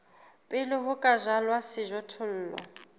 pele ho ka jalwa sejothollo